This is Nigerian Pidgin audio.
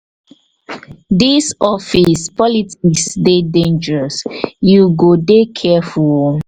dis office politics dey dangerous you go dey careful o.